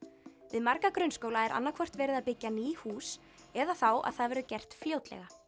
við marga grunnskóla er annað hvort verið að byggja ný hús eða þá að það verður gert fljótlega